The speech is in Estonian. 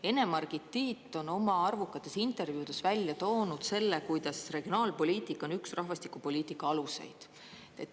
Ene-Margit Tiit on oma arvukates intervjuudes välja toonud selle, kuidas regionaalpoliitika on üks rahvastikupoliitika aluseid.